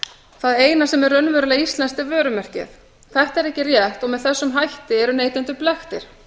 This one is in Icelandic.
það eina sem er raunverulega íslenskt er vörumerkið þetta er ekki rétt og með þessum hætti eru neytendur blekktir